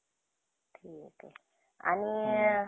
profit का